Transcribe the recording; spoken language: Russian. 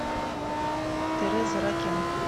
тереза ракен